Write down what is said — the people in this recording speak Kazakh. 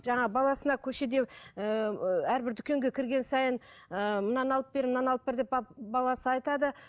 жаңағы баласына көшеде ііі әрбір дүкенге кірген сайын ыыы мынаны алып бер мынаны алып бер деп баласы айтады